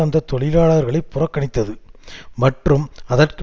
அந்த தொழிலாளர்களை புறக்கணித்தது மற்றும் அதற்கு